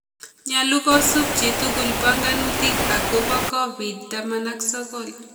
Nyolu kosip chitugul bankanutiik akobo COVID taman ak sogol